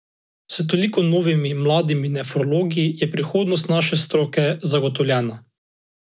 S toliko novimi mladimi nefrologi je prihodnost naše stroke zagotovljena.